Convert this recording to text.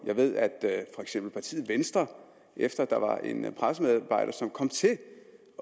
jeg ved at for eksempel partiet venstre efter at der var en pressemedarbejder som kom til at